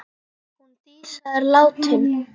Hún Dísa er látin!